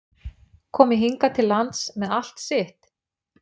Komi hingað til lands með allt sitt?